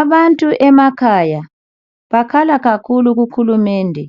Abantu emakhaya, bakhala kakhulu kuhulumende